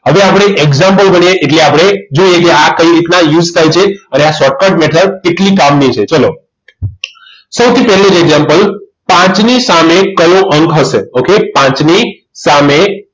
આજે આપણે એક example ભણીએ એટલે આપણે જો આ તે કઈ રીતના use થાય છે અને આ shortcut method કેટલી કામની છે ચાલો સૌથી પહેલું જ example પાંચની સામે કયો અંક હશે okay પાંચની સામે